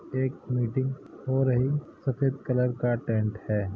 एक मीटिंग हो रही सफ़ेद कलर का टेंट है।